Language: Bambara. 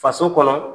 Faso kɔnɔ